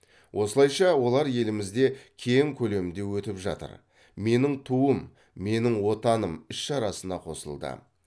осылайша олар елімізде кең көлемде өтіп жатыр менің туым менің отаным іс шарасына қосылды